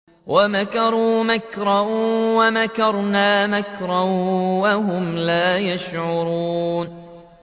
وَمَكَرُوا مَكْرًا وَمَكَرْنَا مَكْرًا وَهُمْ لَا يَشْعُرُونَ